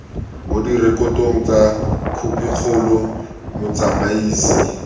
mo direkotong tsa khopikgolo motsamaisi